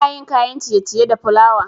Ana yin kayan ciye-ciye da plawa